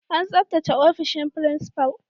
An tsabtace ofishin principal.